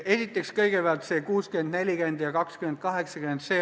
Esiteks, kõigepealt see 60% : 40% ja 20% : 80%.